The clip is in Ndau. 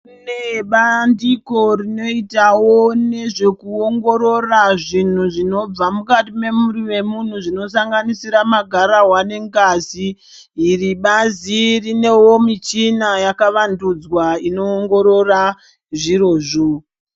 Kunebandiko rinoitavo nezvekuongorora zvinhu zvinobva mukati mwemwiri memuntu zvinosanganisira magararwa ngengazi. Iri bazi rinevo michina yakavandudzwa inoongorora zvirozvo.